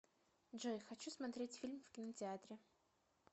джой хочу смотреть фильм в кинотеатре